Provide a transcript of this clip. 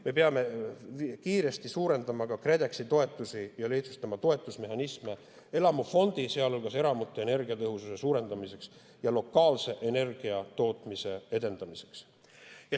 Me peame kiiresti suurendama ka KredExi toetusi ja lihtsustama toetusmehhanisme elamufondi, sealhulgas eramute energiatõhususe suurendamiseks ja lokaalse energiatootmise edendamiseks.